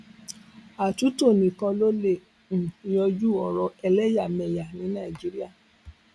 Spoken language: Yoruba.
àtúntò nìkan ló lè um yanjú ọrọ ẹlẹyàmẹyà ní nàìjíríà